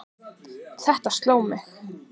Þetta sló mig.